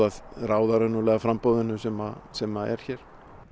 að ráða raunverulega framboðinu sem sem er hér